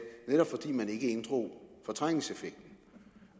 netop fordi man ikke inddrog fortrængningseffekten